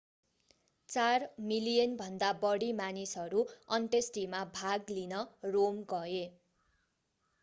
चार मिलियनभन्दा बढी मानिसहरू अन्त्येष्टिमा भाग लिन रोम गए